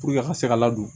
Puruke a ka se ka ladon